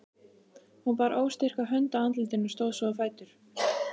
Hún bar óstyrka hönd að andlitinu, stóð svo á fætur.